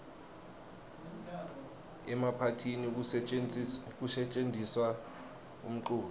emaphathini kusetjentiswa umculo